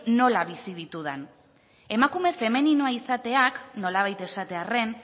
nola bizi ditudan emakume femeninoa izateak nolabait esatearren